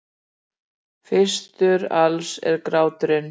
Fyrstur alls er gráturinn.